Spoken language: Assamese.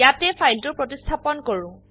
ইয়াতে ফাইলটো প্ৰতিস্থাপন কৰো